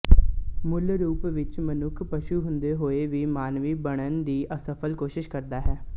ਮੂਲ ਰੂਪ ਵਿੱਚ ਮਨੁੱਖ ਪਸ਼ੂ ਹੁੰਦੇ ਹੋਏ ਵੀ ਮਾਨਵੀ ਬਣਨ ਦੀ ਅਸਫਲ ਕੋਸ਼ਿਸ਼ ਕਰਦਾ ਹੈ